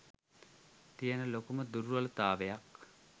තියෙන ලොකු දුර්වලතාවයක්